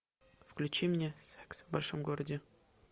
включи мне секс в большом городе